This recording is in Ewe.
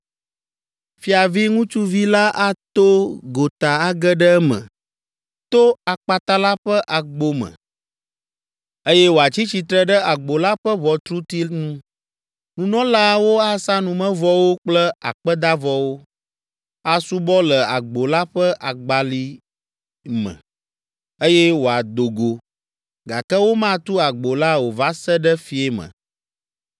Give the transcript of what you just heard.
Fiavi ŋutsuvi la ato gota age ɖe eme to akpata la ƒe agbo me, eye wòatsi tsitre ɖe agbo la ƒe ʋɔtruti nu. Nunɔlaawo asa numevɔwo kple akpedavɔwo, asubɔ le agbo la ƒe agbali me, eye wòado go, gake womatu agbo la o va se ɖe fiẽ me.